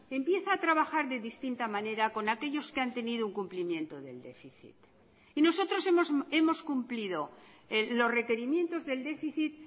empieza a trabajar de distinta manera con aquellos que han tenido un cumplimiento del déficit y nosotros hemos cumplido los requerimientos del déficit